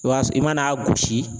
I b'a i mana a gosi.